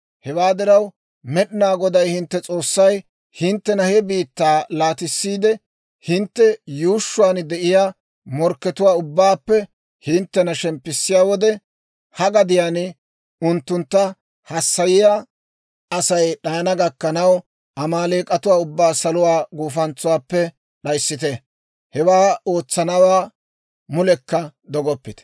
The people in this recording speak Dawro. Hewaa diraw, Med'inaa Goday hintte S'oossay hinttena he biittaa laatissiide, hintte yuushshuwaan de'iyaa morkkatuwaa ubbaappe hinttena shemppissiyaa wode, ha gadiyaan unttuntta hassayiyaa Asay d'ayana gakkanaw, Amaaleek'atuwaa ubbaa saluwaa gufantsaappe d'ayissite; hewaa ootsanawaa mulekka dogoppite.